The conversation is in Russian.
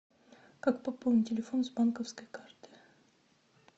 как пополнить телефон с банковской карты